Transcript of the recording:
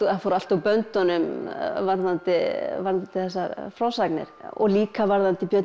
fór allt úr böndunum varðandi þessar frásagnir og líka varðandi björninn